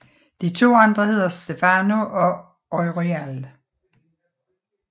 De to andre hedder Stheno og Euryale